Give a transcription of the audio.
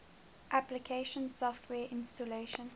application software installation